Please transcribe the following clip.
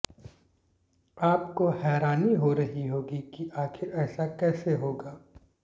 आपको हैरानी हो रही होगी कि आखिर ऐसा कैसे होगा